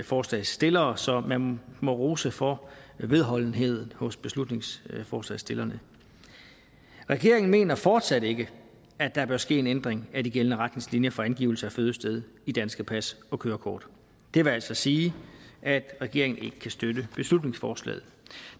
forslagsstillere så man må rose for vedholdenheden hos beslutningsforslagsstillerne regeringen mener fortsat ikke at der bør ske en ændring af de gældende retningslinjer for angivelse af fødested i danske pas og kørekort det vil altså sige at regeringen ikke kan støtte beslutningsforslaget